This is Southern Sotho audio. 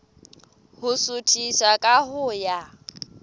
ho suthisa ka ho ya